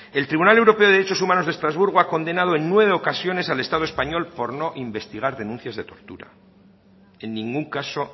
el tribunal europeo de derechos humanos de estrasburgo ha condenado en nueve ocasiones al estado español por no investigar denuncias de tortura en ningún caso